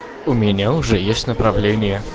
у меня уже есть направление